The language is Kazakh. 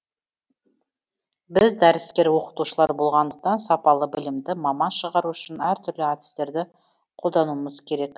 біз дәріскер оқытушылар болғандықтан сапалы білімді маман шығару үшін әртүрлі әдістерді қолдануымыз керек